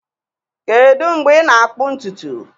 Kedu mgbe ị na-akpụ ntutu